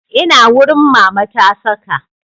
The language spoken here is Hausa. Ina wurin Mama ta saka